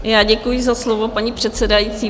Já děkuji za slovo, paní předsedající.